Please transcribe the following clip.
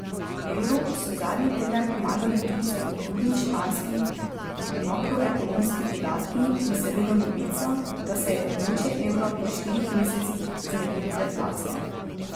Evru so zadnji teden pomagali tudi spodbudni španski makroekonomski podatki in seveda novica, da se je območje evra po štirih mesecih znebilo deflacije.